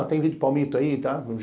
Ah, tem vidro de palmito aí, tá?